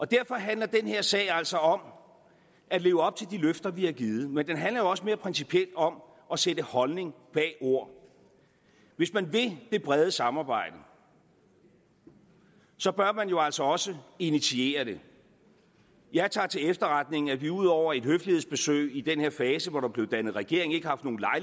derfor handler den her sag altså om at leve op til de løfter vi har givet men den handler jo også mere principielt om at sætte holdning bag ord hvis man vil det brede samarbejde så bør man jo altså også initiere det jeg tager til efterretning at vi ud over et høflighedsbesøg i den fase hvor der blev dannet regering ikke har